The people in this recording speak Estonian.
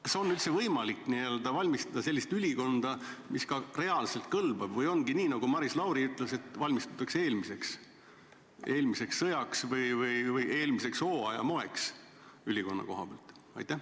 Kas üldse on võimalik valmistada sellist ülikonda, mis reaalselt kõlbaks, või ongi nii, nagu Maris Lauri ütles, et valmistutakse eelmiseks sõjaks või eelmise hooaja moeks, kui rääkida ülikonnast?